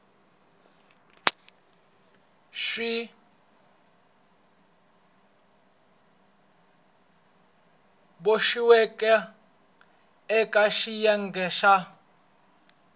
swi boxiweke eka xiyenge xa